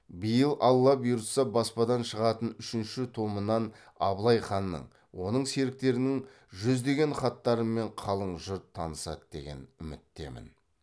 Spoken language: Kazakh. биыл алла бұйыртса баспадан шығатын үшінші томынан абылай ханның оның серіктерінің жүздеген хаттарымен қалың жұрт танысады деген үміттемін